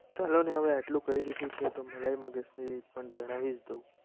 હવે આટલું કહી દીધું છે. તો મેલાઈ મગજની પણ જણાવીશ. તું